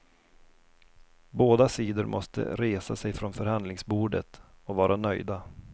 Båda sidor måste resa sig från förhandlingsbordet och vara nöjda.